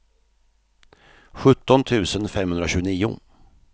sjutton tusen femhundratjugonio